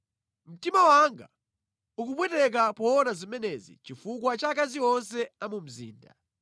Mtima wanga ukupweteka poona zimenezi chifukwa cha akazi onse a mu mzinda.